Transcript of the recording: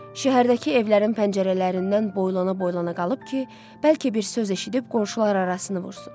Şəhərdəki evlərin pəncərələrindən boylana-boylana qalıb ki, bəlkə bir söz eşidib qonşuları arasını vursun.